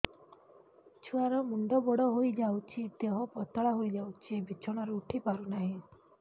ଛୁଆ ର ମୁଣ୍ଡ ବଡ ହୋଇଯାଉଛି ଦେହ ପତଳା ହୋଇଯାଉଛି ବିଛଣାରୁ ଉଠି ପାରୁନାହିଁ